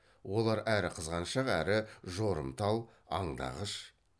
олар әрі қызғаншақ әрі жорымтал аңдағыш